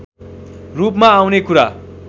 रूपमा आउने कुरा